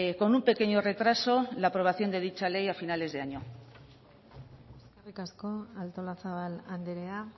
con un pequeño retraso la aprobación de dicha ley a finales de año eskerrik asko artolazabal andrea